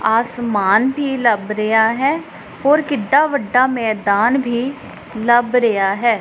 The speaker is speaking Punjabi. ਅਸਮਾਨ ਵੀ ਲੱਭ ਰਿਹਾ ਹੈ ਹੋਰ ਕਿੱਡਾ ਵੱਡਾ ਮੈਦਾਨ ਵੀ ਲੱਭ ਰਿਹਾ ਹੈ।